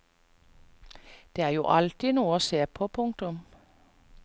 Det er jo alltid noe å se på. punktum